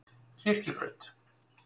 Kirkjubraut